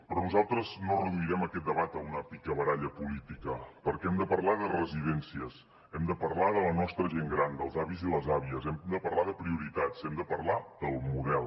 però nosaltres no reduirem aquest debat a una picabaralla política perquè hem de parlar de residències hem de parlar de la nostra gent gran dels avis i les àvies hem de parlar de prioritats hem de parlar del model